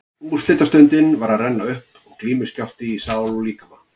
Úrslitastundin var að renna upp og glímuskjálfti í sál og líkama.